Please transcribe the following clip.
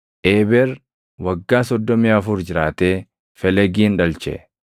Eeber waggaa 34 jiraatee Felegin dhalche.